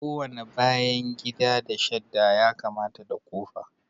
Kowane bayan gida da shadda ya kamata da kofa